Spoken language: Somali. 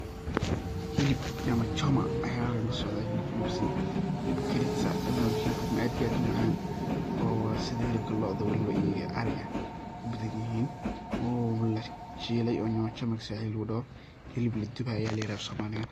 Xilib nyama choma ayaa halkan kasocda , xilib aad iyo aad u macan waye oo sidha xilibka locda iyo ariga ay u badan yihin waye , oo lashilaay oo xilib nyama choma swahiliga lagu doho afsomaliga xilib la duway ba ladaha.